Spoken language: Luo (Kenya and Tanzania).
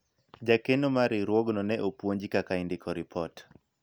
jakeno mar riwruogno ne opuonji kaka indiko ripot